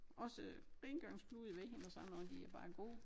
Også rengøringsklude ved hende og sådan noget de er bare gode